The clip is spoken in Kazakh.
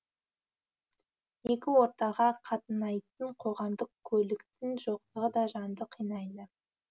екі ортаға қатынайтын қоғамдық көліктің жоқтығы да жанды қинайды